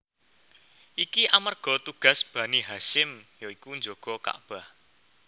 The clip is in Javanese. Iki amarga tugas Bani Hasyim ya iku njaga Kakbah